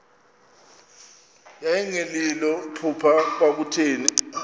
yayingelilo phupha kwakutheni